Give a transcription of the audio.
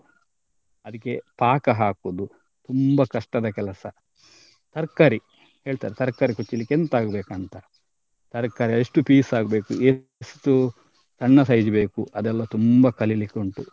ಅದಿಕ್ಕೆ ಪಾಕ ಹಾಕುದು ತುಂಬಾ ಕಷ್ಟದ ಕೆಲಸ. ತರ್ಕಾರಿ ಹೇಳ್ತಾರೆ ತರ್ಕಾರಿ ಕೊಚ್ಚಲಿಕ್ಕೆ ಎಂತ ಆಗ್ಬೇಕು ಅಂತ ತರ್ಕಾರಿ ಎಷ್ಟು piece ಆಗ್ಬೇಕು ಎಷ್ಟು ಸಣ್ಣ size ಬೇಕು ಅದೆಲ್ಲ ತುಂಬಾ ಕಲಿಲಿಕ್ಕೆ ಉಂಟು.